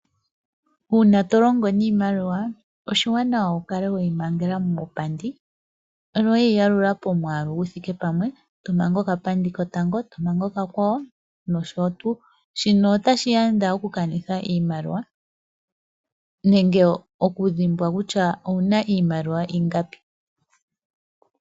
Uuna tolongo niimaliwa oshiwanawa wukale weyi mangela muupandi ano weyi yalula pomwaalu guthike pamwe, tomanga oka pandi kotango, tomanga oka kwawo nosho tuu. Shino ota shiyanda oku kanitha iimaliwa nenge oku dhimbwa kutya owuna iimaliwa ingapi.